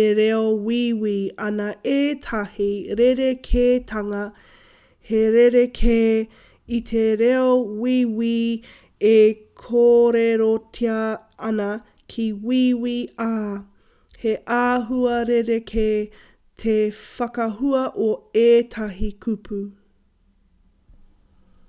e reo wīwī ana ētahi rerekētanga he rerekē i te reo wīwī e kōrerotia ana ki wīwī ā he āhua rerekē te whakahua o ētahi kupu